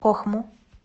кохму